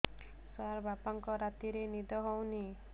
ସାର ବାପାଙ୍କର ରାତିରେ ନିଦ ହଉନି